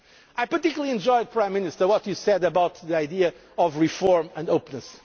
open up. I particularly enjoyed, Prime Minister, what you said about the idea of reform and